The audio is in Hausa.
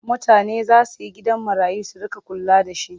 Mutane za su yi gidajen marayu su riƙa kula da shi.